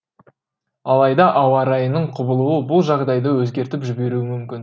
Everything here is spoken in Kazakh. алайда ауа райының құбылуы бұл жағдайды өзгертіп жіберуі мүмкін